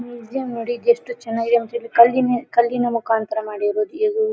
ನೀರ್ ಜಾಮ್ ನೋಡಿ ಯೆಸ್ಟ್ ಚೆನ್ನಾಗಿದೆ ಅಂತೇಳಿ ಕಲ್ಲಿನ ಮುಕಾಂತರ ಮಾಡಿರುವುದು ಇದು --